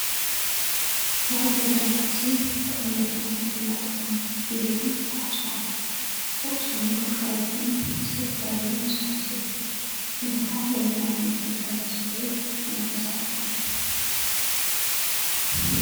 ናይ ገዛ ናውቲ ብዓይነቶምን መጠኖምን ኢሉውን ብቁፅሮምን ግልጋሎቶምን ዝተፈላለዩን ብዙሓት እዮም። እዚ ከዓ ነየናይ ዓይነት ግልጋሎት ዝውዕል ናይ ገዛ ኣቅሓ እዩ ?